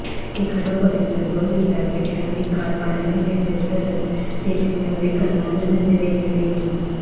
एखादा परीसर दोन दिवसांपेक्षा अधिक काळ पाण्याखाली असेल तरच तेथील नागरीकांना अन्नधान्य देण्यात येईल